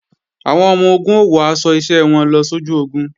Àwọn ọmọ-ogun ó wọ aṣọ iṣẹ́ wọn lọ sójú ogun